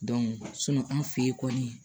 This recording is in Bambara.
an fe yen kɔni